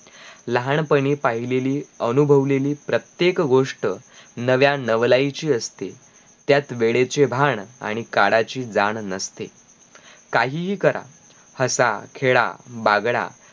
लहानपणी पाहिलेल अनुभवलेली प्रत्येक गोष्ट नव्या नवालाईची असते त्यात वेडेचे भाण आणी काळाची जाण नसते काही करा हसा खेडा बागड